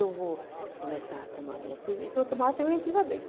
Eu vou começar a tomar a minha cerveja, porque eu tomava cerveja antigamente.